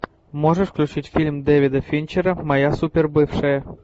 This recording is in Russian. можешь включить фильм дэвида финчера моя супербывшая